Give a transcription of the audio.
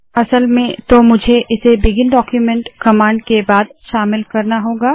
असल में तो मुझे इसे बिगिन डाक्यूमेन्ट कमांड के बाद शामिल करना होगा